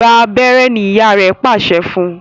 Gbà abéré! ní ìyá rẹ pàṣẹ fún.